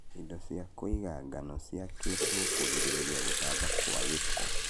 indo cia kũiga ngano ciakĩtwo kũgirĩrĩa gũtamba kwa gĩko.